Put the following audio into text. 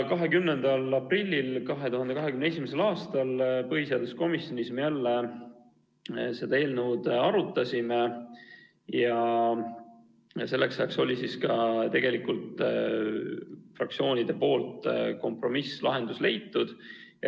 20. aprillil me arutasime jälle seda eelnõu ja selleks ajaks oli ka fraktsioonides kompromisslahendus leitud.